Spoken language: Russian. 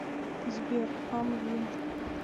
сбер амвин